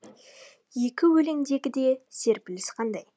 екі өлеңдегі де серпіліс қандай